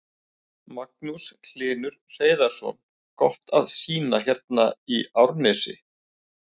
Magnús Hlynur Hreiðarsson: Gott að sýna hérna í Árnesi?